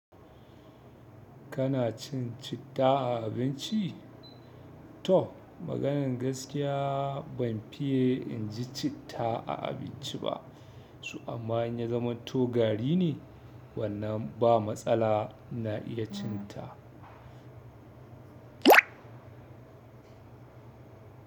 Kana cin citta a abinci? To maganan gaskiya ban fiye in ji citta a abinci ba. Toh amma in ya zaman to garine wannan ba matsala ina iya cin ta.